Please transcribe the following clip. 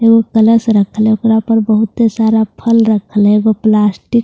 कलश बहुत सारा फल रख ले वो प्लास्टिक --